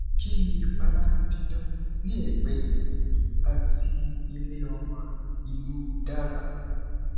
kini ipalara didan ni egbe ikun ati ile omo inu daba